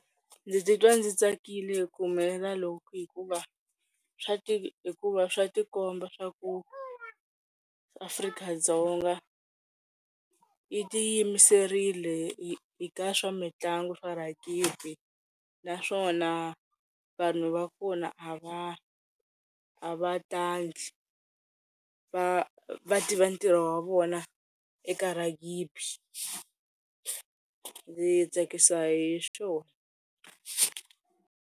Ndzi titwa ndzi tsakile hi ku humelela loko hikuva swa hikuva swa ti komba swa ku Afrika-Dzonga yi ti yimiserile eka swa mitlangu naswona vanhu va kona a va a va ta va va tiva ntirho wa vona eka ragibi. Ndzi tsakisa hi swona.